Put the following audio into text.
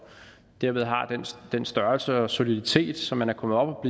derved har den størrelse og soliditet så man er kommet op